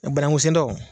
Banangun sen daw